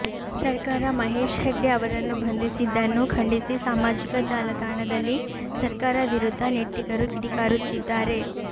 ಸರ್ಕಾರ ಮಹೇಶ್ ಹೆಗ್ಡೆ ಅವರನ್ನು ಬಂಧಿಸಿದನ್ನು ಖಂಡಿಸಿ ಸಾಮಾಜಿಕ ಜಾಲತಾಣದಲ್ಲಿ ಸರ್ಕಾರ ವಿರುದ್ಧ ನೆಟ್ಟಿಗರು ಕಿಡಿಕಾರುತ್ತಿದ್ದಾರೆ